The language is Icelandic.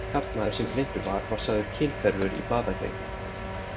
Karlmaðurinn sem greindur var var sagður kynhverfur í blaðagrein.